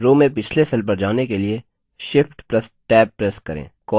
row में पिछले cell पर जाने के लिए shift + tab प्रेस करें